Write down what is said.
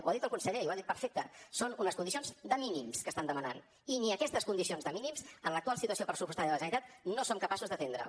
ho ha dit el conseller i ho ha dit perfecte són unes condicions de mínims que estan demanant i ni aquestes condicions de mínims amb l’actual situació pressupostària de la generalitat no som capaços d’atendre les